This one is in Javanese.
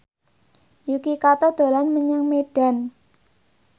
Yuki Kato dolan menyang Medan